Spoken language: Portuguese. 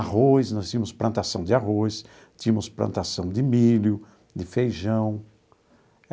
Arroz, nós tínhamos plantação de arroz, tínhamos plantação de milho, de feijão.